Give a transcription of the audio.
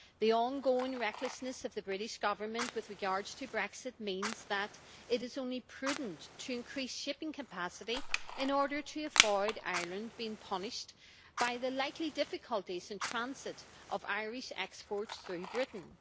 The ongoing recklessness of the British Government with regard to Brexit means that it is only prudent to increase shipping capacity in order to avoid Ireland being punished by the likely difficulties in transit of Irish exports through Britain.